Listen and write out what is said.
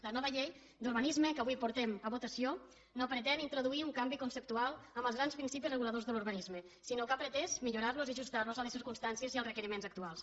la nova llei d’urbanisme que avui portem a votació no pretén introduir un canvi conceptual en els grans principis reguladors de l’urbanisme sinó que ha pretès millorar los i ajustar los a les circumstàncies i als requeriments actuals